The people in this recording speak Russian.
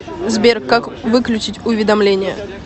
сбер как выключить уведомление